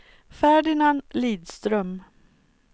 Ferdinand Lidström